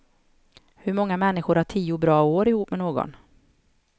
Hur många människor har tio bra år ihop med någon.